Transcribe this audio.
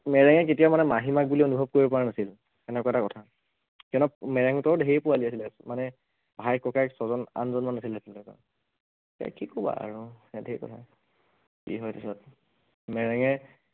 মেৰেঙে কেতিয়াও মানে মাহীমাক বুলি অনুভৱ কৰিব পৰা নাছিল, সেনেকুৱা এটা কথা, সিহঁতৰ মেৰেঙহঁতৰ ধেৰ পোৱালী আছিলে মানে ভাই ককায়েক ছজন আঠজন মান আছিল এৰ কি কবা আৰু এইয়া ধেৰ কথা, কি হয় তাৰপাছত, মেৰেঙে